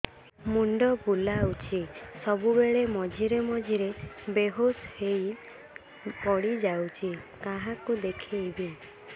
ମୁଣ୍ଡ ବୁଲାଉଛି ସବୁବେଳେ ମଝିରେ ମଝିରେ ବେହୋସ ହେଇ ପଡିଯାଉଛି କାହାକୁ ଦେଖେଇବି